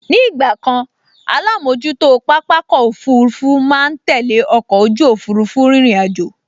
Ní ìgbàkan alámojútó pápákọ̀ òfurufú máa n tẹ́lẹ̀ ọkọ̀ ojú òfurufú rírìn àjò